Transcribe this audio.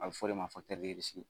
A bɛ f'o de ma